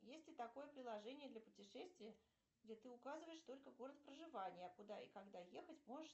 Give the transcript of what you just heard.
есть ли такое приложение для путешествия где ты указываешь только город проживания а куда и когда ехать можешь